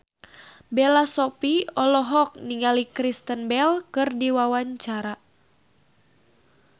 Bella Shofie olohok ningali Kristen Bell keur diwawancara